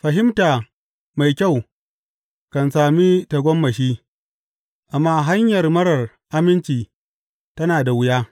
Fahimta mai kyau kan sami tagomashi, amma hanyar marar aminci tana da wuya.